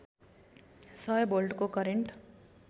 सय भोल्टको करेन्ट